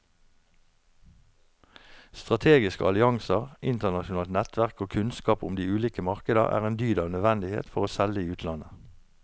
Strategiske allianser, internasjonalt nettverk og kunnskap om de ulike markeder er en dyd av nødvendighet for å selge i utlandet.